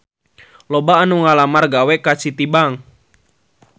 Loba anu ngalamar gawe ka Citibank